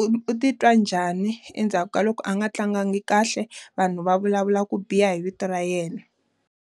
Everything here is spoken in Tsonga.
u u titwa njhani endzhaku ka loko a nga tlanga kahle, vanhu va vulavula ku biha hi vito ra yena?